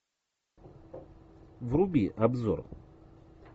вруби обзор